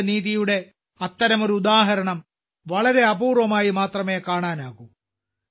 സാമൂഹിക നീതിയുടെ അത്തരമൊരു ഉദാഹരണം വളരെ അപൂർവമായി മാത്രമേ കാണാനാകൂ